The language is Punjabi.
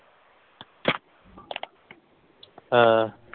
ਹਾਂ।